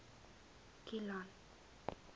kilian